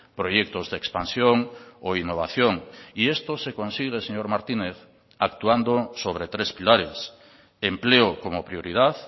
proyectos de expansión o innovación y esto se consigue señor martínez actuando sobre tres pilares empleo como prioridad